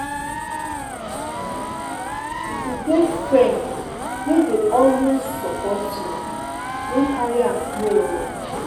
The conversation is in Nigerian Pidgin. If you get friend wey dey always support you, no carry am play oo.